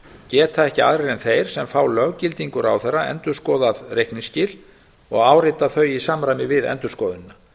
geta ekki aðrir en þeir sem fá löggildingu ráðherra endurskoðað reikningsskil og áritað þau í samræmi við endurskoðunina